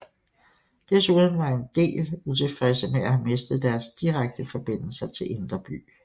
Desuden var en del utilfredse med at have mistet deres direkte forbindelser til Indre By